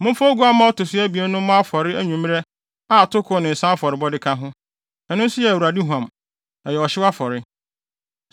Momfa oguamma a ɔto so abien no mmɔ afɔre anwummere a atoko ne nsa afɔrebɔ ka ho. Ɛno nso yɛ Awurade huam. Ɛyɛ ɔhyew afɔre.’